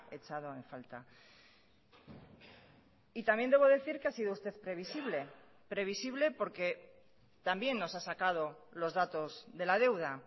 echado en falta y también debo decir que ha sido usted previsible previsible porque también nos ha sacado los datos de la deuda